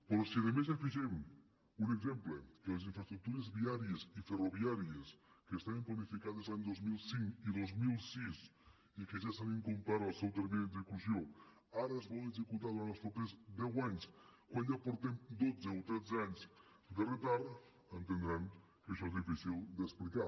però si a més hi afegim un exemple que les infraestructures viàries i ferroviàries que estaven planificades els anys dos mil cinc i dos mil sis i que ja s’ha incomplert el seu termini d’execució ara es volen executar durant els propers deu anys quan ja portem dotze o tretze anys de retard entendran que això és difícil d’explicar